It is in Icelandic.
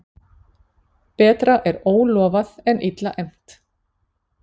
Betra er ólofað en illa efnt.